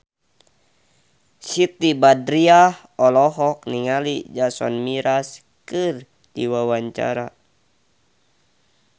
Siti Badriah olohok ningali Jason Mraz keur diwawancara